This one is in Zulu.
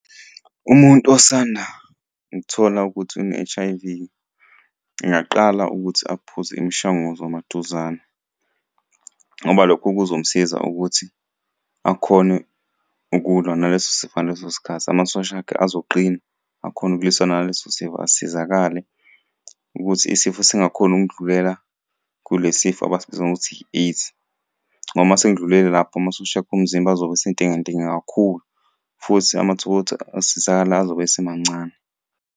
Umuntu osanda kuthola ukuthi une-H_I_V ngingaqala ukuthi aphuze imishanguzo maduzane ngoba lokho kuzomusiza ukuthi akhone ukulwa naleso sifo ngaleso sikhathi. Amasosha akhe azoqina, akhone ukulwisana naleso sifo asizakale, ukuthi isifo singakhoni ukundlulela kule sifo abasibiza ngokuthi i-AIDS ngoba uma sekudlulele lapho amasosha akho omzimba azobe esentenge ntenge kakhulu, futhi amathuba okuthi asizakale azobe esemancane.